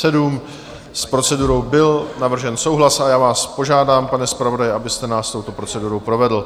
S procedurou byl navržen souhlas a já vás požádám, pane zpravodaji, abyste nás touto procedurou provedl.